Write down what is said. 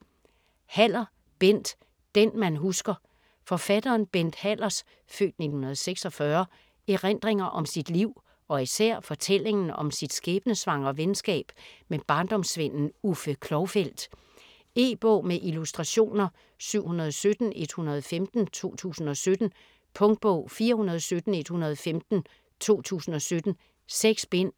Haller, Bent: Det man husker Forfatteren Bent Hallers (f. 1946) erindringer om sit liv og især fortællingen om sit skæbnesvangre venskab med barndomsvennen Uffe Klovfeldt. E-bog med illustrationer 717115 2017. Punktbog 417115 2017. 6 bind.